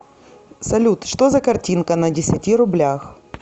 салют что за картинка на десяти рублях